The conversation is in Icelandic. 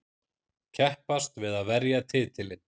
Keppast við að verja titilinn.